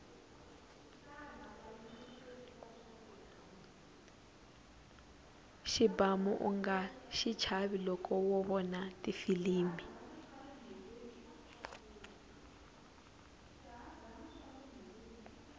xibamu unga xichava loko wo vona tifilimi